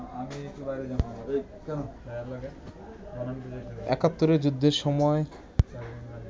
একাত্তরের যুদ্ধের সময়